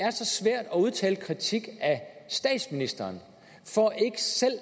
er så svært at udtale kritik af statsministeren for ikke selv at